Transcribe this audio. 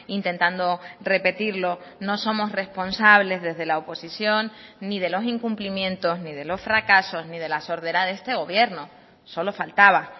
intentando repetirlo no somos responsables desde la oposición ni de los incumplimientos ni de los fracasos ni de la sordera de este gobierno solo faltaba